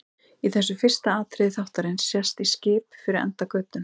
Í þessu fyrsta atriði þáttarins sést í skip fyrir enda götunnar.